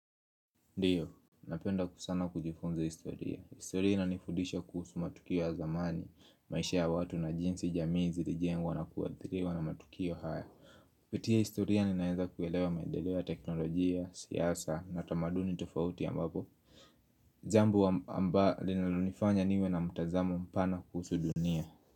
Ndiyo, napenda kusana kujifunza historia. Historia ina nifudisha kuhusu matukio ya zamani, maisha ya watu na jinsi jamii zilijengwa na kuwathiriwa na matukio haya. Pitiya historia ninaeza kuelewa mandeleo ya teknolojia, siasa na tamaduni tofauti ya ambapo. Jambo amba amba linalonifanya niwe na mtazamo mpana kuhusu dunia.